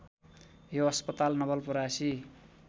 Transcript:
यो अस्पताल नवलपरासी